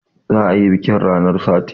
Za a yi biƙin ranar sati